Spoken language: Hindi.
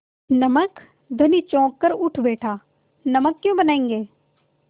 नमक धनी चौंक कर उठ बैठा नमक क्यों बनायेंगे